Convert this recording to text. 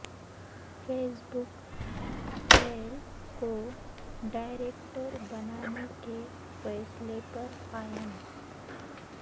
face بک Thiel کو director بنانے کے فیصلے پر قائم